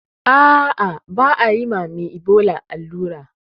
Ah ah ba ayi mame ibola allura